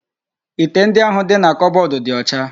Ite ndi ahu di na kobodu di ocha